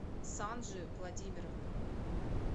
санжи владимировна